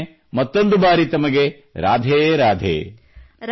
ಮತ್ತೊಮ್ಮೆ ಮತ್ತೊಂದು ಬಾರಿ ತಮಗೆ ರಾಧೇ ರಾಧೇ